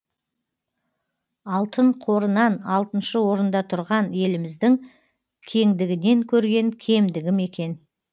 алтын қорынан алтыншы орында тұрған еліміздің кеңдігінен көрген кемдігі ме екен